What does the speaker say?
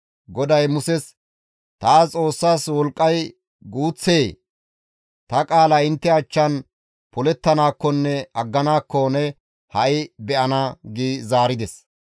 GODAY Muses, «Taas Xoossas wolqqay guuththee? Ta qaalay intte achchan polettanaakkonne agganaakko ne ha7i be7ana» gi zaarides.